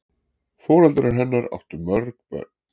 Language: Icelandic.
Foreldrar hennar áttu mörg börn.